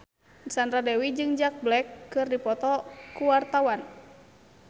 Sandra Dewi jeung Jack Black keur dipoto ku wartawan